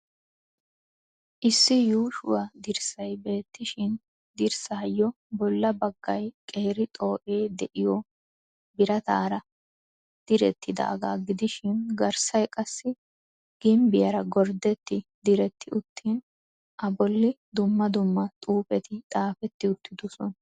Issi yuushshuwa dirssay beettishin dirssayo bolla baggay qeeri xoo'ee de'iyo birataara direttidaagaa gidishin garssay qassi gimbbiyaara gordetti diretti uttin a bolli dumma dumma xuufetti xaafetti uttidosona.